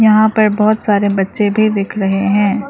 यहाँ पर बहोत सारे बच्चे भी दिख रहे हैं।